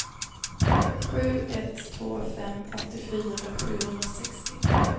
sju ett två fem åttiofyra sjuhundrasextio